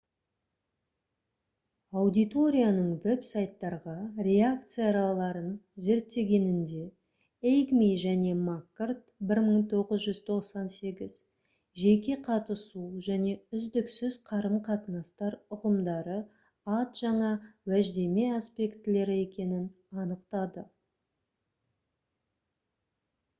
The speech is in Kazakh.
аудиторияның веб-сайттарға реакцияларын зерттегенінде эйгми және маккорд 1998 «жеке қатысу» және «үздіксіз қарым-қатынастар» ұғымдары ад жаңа уәждеме аспектілері екенін анықтады